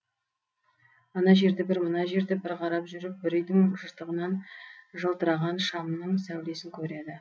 ана жерді бір мына жерді бір қарап жүріп бір үйдің жыртығынан жалтыраған шамның сәулесін көреді